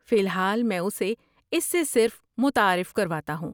فی الحال میں اسے اس سے صرف متعارف کرواتا ہوں۔